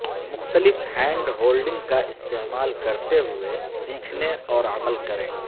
مختلف hand holding کا استعمال کرتے ہوئے سیکھنے اور عمل کریں